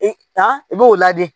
E ka i b'o ladi